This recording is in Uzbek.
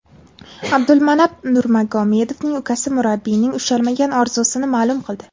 Abdulmanap Nurmagomedovning ukasi murabbiyning ushalmagan orzusini ma’lum qildi.